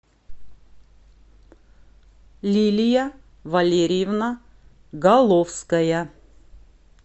лилия валерьевна головская